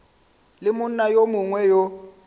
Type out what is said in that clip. le monna yo mongwe yo